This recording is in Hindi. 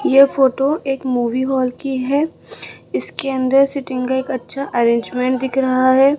ये फोटो एक मूवी हॉल की है इसके अंदर सीटिंग का एक अच्छा अरेंजमेंट दिख रहा है।